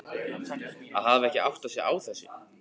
Að hafa ekki áttað sig á þessu!